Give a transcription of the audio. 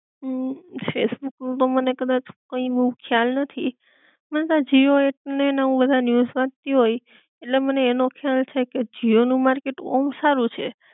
અમ ફેસબુક નું તો મને કદાચ કઈ બોવ ખ્યાલ નથી મને તો આ જીઓ એક ને હું બધા ન્યુજ વાંચતી હોય ઍટલે મને એનો ખ્યાલ છે કે જીઓ નું માર્કેટ ઑમ સારું છે